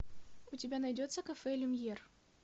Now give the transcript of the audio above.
у тебя найдется кафе люмьер